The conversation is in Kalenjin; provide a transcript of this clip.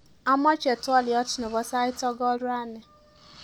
Amache twoliot nebo sait sokol rani